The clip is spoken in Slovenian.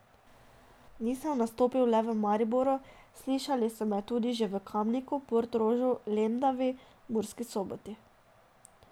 Nisem nastopil le v Mariboru, slišali so me tudi že v Kamniku, Portorožu, Lendavi, Murski Soboti...